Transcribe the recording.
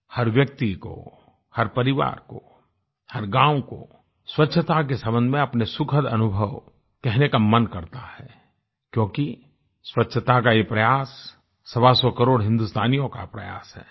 हर व्यक्ति को हर परिवार को हर गाँव को स्वच्छता के सम्बन्ध में अपने सुखद अनुभवों कहने का मन करता है क्योंकि स्वच्छता का यह प्रयास सवासौ करोड़ हिन्दुस्तानियों का प्रयास है